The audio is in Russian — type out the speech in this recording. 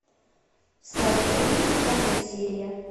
сладкая жизнь пятая серия